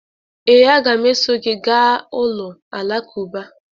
Ee, a ga m eso gị gaa ụlọ alakụba.